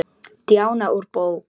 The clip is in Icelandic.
Díana úr bók.